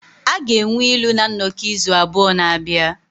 A ga-enwe ilu na nnọkọ izu abụọ na-abịa.